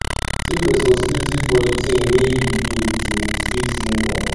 take responsibility for di things wey you do to fit move on